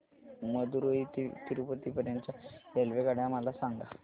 मदुरई ते तिरूपती पर्यंत च्या रेल्वेगाड्या मला सांगा